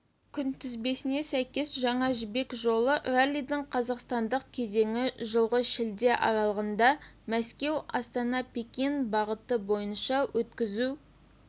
күнтізбесіне сәйкес жаңа жібек жолы раллидің қазақстандық кезеңі жылғы шілде аралығында мәскеу-астана-пекин бағыты бойынша өткізу